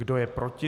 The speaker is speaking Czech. Kdo je proti?